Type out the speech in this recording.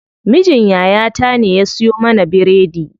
Mijin yaya ta ne ya siyo mana biredi.